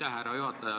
Aitäh, härra juhataja!